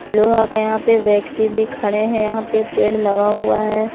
लोहा का यहां पे व्यक्ति भी खड़े हैं यहां पे पेड़ लगा हुआ है।